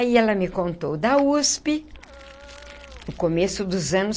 Aí ela me contou da USP, no começo dos anos.